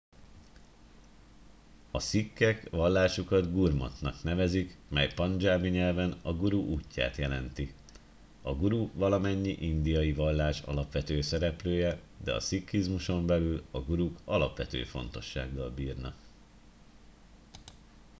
a szikhek vallásukat gurmatnak nevezik mely pandzsábi nyelven a guru útját jelenti a guru valamennyi indiai vallás alapvető szereplője de a szikhizmuson belül a guruk alapvető fontossággal bírnak